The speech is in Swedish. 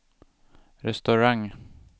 restaurang